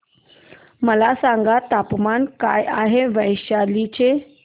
मला सांगा तापमान काय आहे वैशाली चे